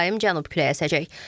Mülayim cənub küləyi əsəcək.